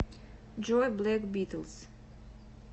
джой блэк битлз